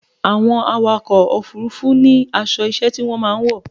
Àwọn awakọ̀ òfurufú ní aṣọ iṣẹ́ tí wọ́n máa ń wọ̀.